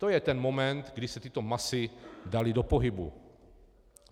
To je ten moment, kdy se tyto masy daly do pohybu.